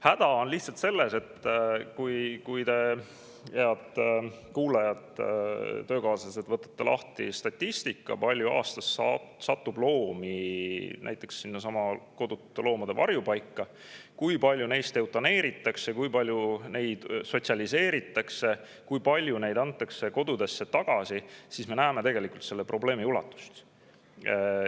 Häda on lihtsalt selles, et kui te, head töökaaslased, võtate lahti statistika, kui palju aastas satub loomi sinnasamma kodutute loomade varjupaika ja kui palju neist eutaneeritakse, kui palju neid sotsialiseeritakse, kui palju neid antakse kodudesse tagasi, siis me näeme selle probleemi ulatust.